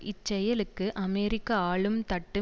இச் செயலுக்கு அமெரிக்க ஆளும் தட்டு